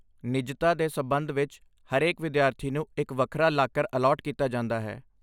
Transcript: ਨਿੱਜਤਾ ਦੇ ਸਬੰਧ ਵਿੱਚ, ਹਰੇਕ ਵਿਦਿਆਰਥੀ ਨੂੰ ਇੱਕ ਵੱਖਰਾ ਲਾਕਰ ਅਲਾਟ ਕੀਤਾ ਜਾਂਦਾ ਹੈ।